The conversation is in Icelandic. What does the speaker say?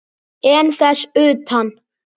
En þess utan?